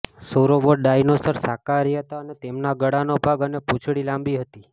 sauropod dinosaur શાકાહારી હતા અને તેમના ગળાનો ભાગ અને પૂંછડી લાંબી હતી